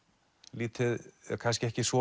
lítið kannski ekki svo